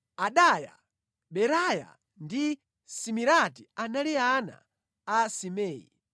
Adaya, Beraya ndi Simirati anali ana a Simei.